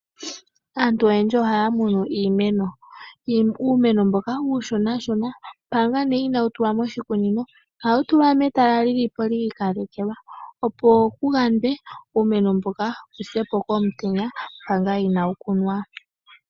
Aantu oyendji ohaya munu iimeno, uumeno mboka uushona shona manga ne inawu tulwa moshikunino ohawu tulwa metala lilipo lyikalekelwa opo kuyandwe uumeno mboka wusepo komutenya manga inawu kunwa.